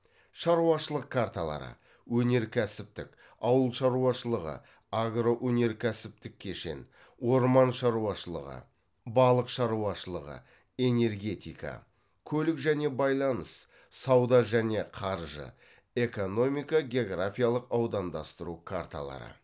шаруашылық карталары өнеркәсіптік ауыл шаруашылығы агроөнеркәсіптік кешен орман шаруашылығы балық шаруашылығы энергетика көлік және байланыс сауда және қаржы экономико географиялық аудандастыру карталары